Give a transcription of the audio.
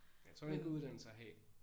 Jeg tror det en god uddannelse at have